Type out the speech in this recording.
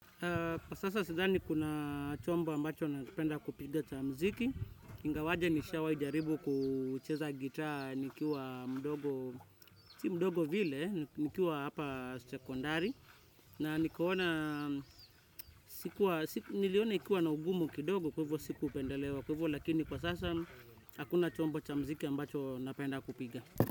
Sasa sidhani kuna chombo ambacho napenda kupiga cha mziki, ingawaje nishawai jaribu kucheza gitaa nikiwa mdogo, si mdogo vile, nikiwa hapa secondary, na nikaona niliona ikiwa na ugumu kidogo kwa hivyo siku pendelewa kwa hivyo lakini kwa sasa hakuna chombo cha mziki ambacho napenda kupiga.